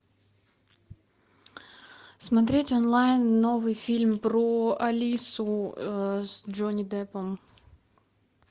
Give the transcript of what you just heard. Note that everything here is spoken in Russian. смотреть онлайн новый фильм про алису с джонни деппом